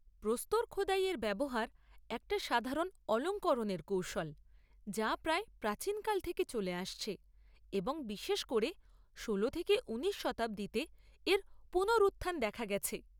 প্রস্তরখোদাইয়ের ব্যবহার একটা সাধারণ অলঙ্করণের কৌশল যা প্রায় প্রাচীনকাল থেকে চলে আসছে, এবং বিশেষ করে ষোলো থেকে উনিশ শতাব্দীতে এর পুনরুত্থান দেখা গেছে।